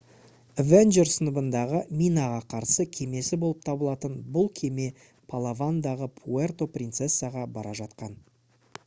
avenger сыныбындағы минаға қарсы кемесі болып табылатын бұл кеме палавандағы пуэрто принцесаға бара жатқан